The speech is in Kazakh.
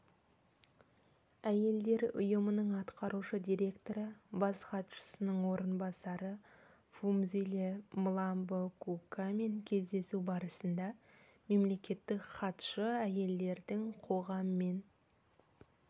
әйелдер ұйымының атқарушы директоры бас хатшысының орынбасары фумзиле мламбо-нгкукамен кездесу барысында мемлекеттік хатшы әйелдердің қоғам мен